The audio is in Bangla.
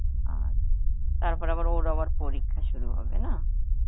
আচ্ছা, তারপরে আবার ওর আবার পরীক্ষা শুরু হবে, না?